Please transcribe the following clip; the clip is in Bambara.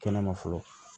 Kɛnɛma fɔlɔ